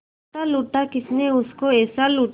लूटा लूटा किसने उसको ऐसे लूटा